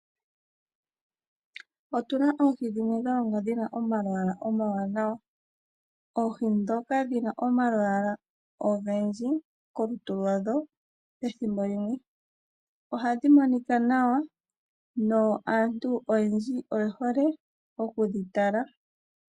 Otu na oohi dhimwe dha longwa dhi na omalwaala omawanawa. Oohi ndhoka dhi na omalwaala ogendji kolutu lwa dho ethimbo limwe ohadhi monika nawa no aantu oyendji oye hole oku dhi tala.